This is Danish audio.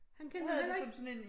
Han kendte det heller ikke